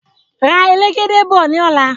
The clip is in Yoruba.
Ra elegede bọ̀ ní ọ̀la